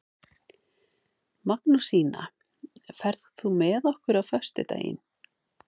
Magnúsína, ferð þú með okkur á föstudaginn?